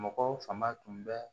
Mɔgɔw fanga tun bɛ